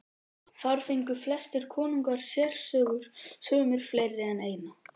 Þar fengu flestir konungar sérsögur, sumir fleiri en eina.